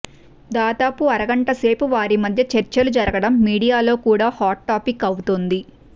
దాదాపు అరగంట సేపు వారి మద్య చర్చలు జరగడం మీడియాలో కూడా హాట్ టాపిక్ అవుతోంది